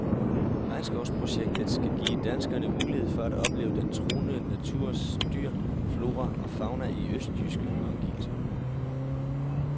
Regnskovsprojektet skal give danskerne mulighed for at opleve den truede naturs dyr, flora og fauna i østjyske omgivelser.